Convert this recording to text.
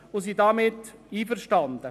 wir sind damit einverstanden.